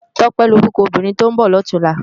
Tope ni órúkò óbìrín tó n bò lòtúnlâ